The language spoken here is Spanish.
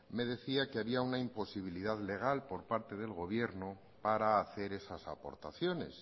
me decía que había una imposibilidad legal por parte del gobierno para hacer esas aportaciones